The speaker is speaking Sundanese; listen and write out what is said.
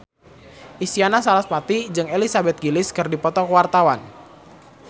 Isyana Sarasvati jeung Elizabeth Gillies keur dipoto ku wartawan